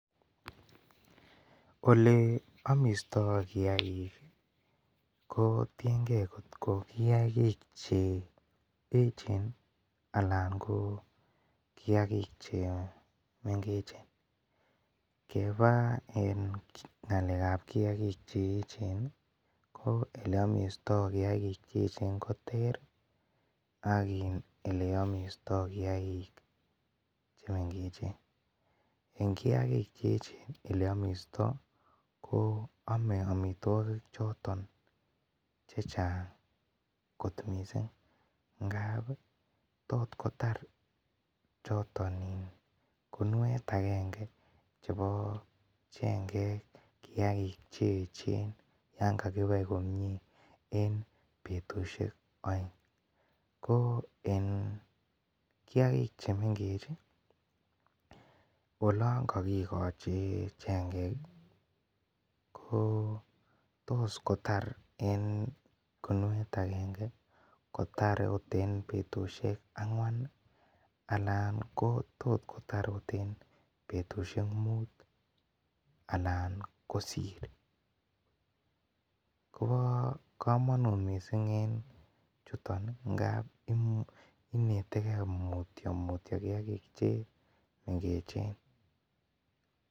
Ole amishtoi kiag'ik kotienge kele kiag'ik che echen anan ko kiag'ik chemengechen, kebaa ng'alekab kiag'ik che echen en eleiamishtoi koter ak ole amishtoe kiag'ik chemengechen, en kiag'ik che echen en ole amishtoi ko ame chechang kot missing ngap tot kotar choton iin kumuet akenge chebo chengek kiag'ik che echen yanga kibai komie en betusiek aeng ,ko en kiag'ik chemeng'ech ii olongo kikochi chengek ii ko tos kotar kinuet akene en betusik angwan tot kotar ot en betusiek mut alan kosir kobokomonut missing en chuton ngap ineteke mutyomutyo kiag'ik chemengechen.